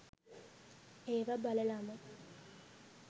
ඒව බලලම